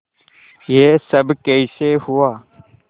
यह सब कैसे हुआ